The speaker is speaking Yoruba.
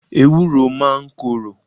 Ewuro máa ń korò.